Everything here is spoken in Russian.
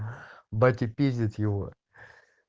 батя пиздит его